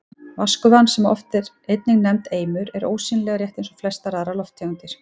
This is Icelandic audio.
Vatnsgufan, sem oft er einnig nefnd eimur, er ósýnileg, rétt eins og flestar aðrar lofttegundir.